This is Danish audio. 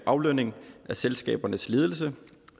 aflønning af selskabernes ledelse